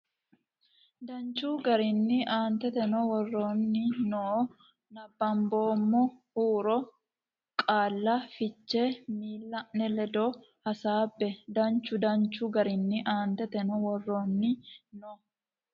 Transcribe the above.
danchu garinni Aanteteno woroonni noo nabbamboommo huuro ne qaalla fiche miilla ne ledo hasaabbe danchu danchu garinni Aanteteno woroonni noo.